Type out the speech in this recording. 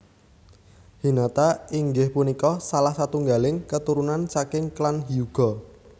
Hinata inggih punika salah satunggaling keturunan saking klan Hyuga